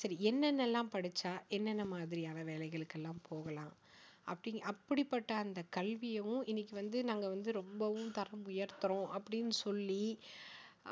சரி என்னென்னெல்லாம் படிச்சா என்னென்ன மாதிரியான வேலைகளுக்கெல்லாம் போகலாம் அப்படி அப்படிப்பட்ட அந்த கல்வியவும் இன்னிக்கு வந்து நாங்க வந்து ரொம்பவும் தரம் உயர்த்தறோம் அப்படின்னு சொல்லி